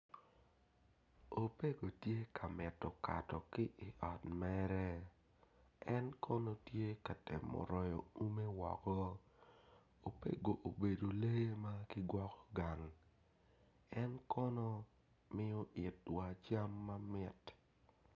Opego tye ka mito kato ki i ot mere en kono tye ka temo royo ume woko opeko obedo lee ma kigwoko gang en kono miyo itwa cam mamit.